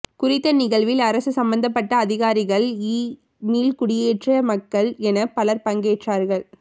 குறித்த நிகழ்வில் அரச சம்மந்தப்பட்ட அதிகாரிகள்இ மீள்குடியேற்ற மக்கள் என பலர் பங்கேற்றார்கள்